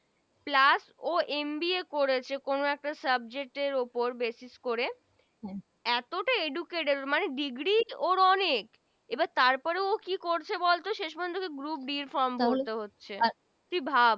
plus ও MBA করেছে কোন একটা Subject এর উপর Basis করে এতোটা Educated মানে degree ওর অনেক এবার তার পরেও ও কি করছে বলত শেষ পর্যন্ত Group B From ভোরতে হচ্ছে তুই ভাব।